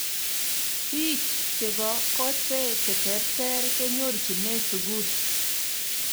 biich chebo kotee che terter kenyorchine sukul